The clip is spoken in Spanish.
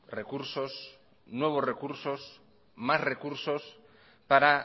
recursos nuevos recursos más recursos para